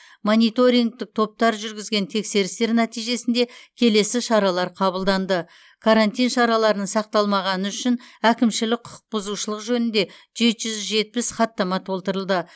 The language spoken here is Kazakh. мониторингтік топтар жүргізген тексерістер нәтижесінде келесі шаралар қабылданды карантин шараларын сақталмағаны үшін әкімшілік құқықбұзушылық жөнінде жеті жүз жетпіс хаттама толтырылды